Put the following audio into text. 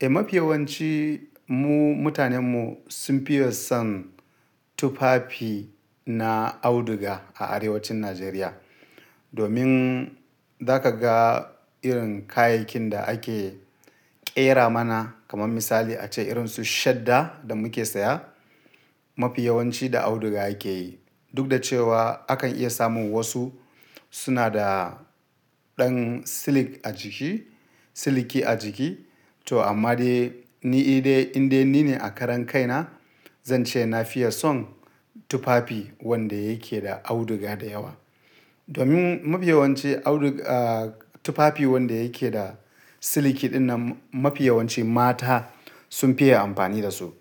Eh, mafi yawanci mu mutanen mu sun fiye son tufafi na auduga a arewacin Najeriya. Domin da ka ga irin kayayyakin da ake ƙera mana kaman misali ace irin su shadda da muke saya mafi yawanci da auduga ake yi. Duk da cewa akan iya samun wasu suna da ɗan silik a jiki, siliki a jiki. To amma dai ni dai in dai ni ne a karan kai na, zan ce na fiye son tufafi wanda yake da auduga da yawa. Domin mafi yawanci audu-- ah tufafi wanda yake da siliki dinnan mafi yawanci mata sun fiye amfani da su.